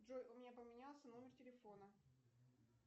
джой у меня поменялся номер телефона